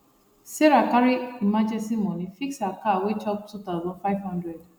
sarah carry emergency money fix her car wey chop two thousand five hundred